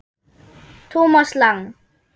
Thomas Lang